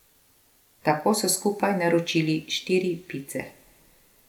Tako so skupaj naročili štiri pice.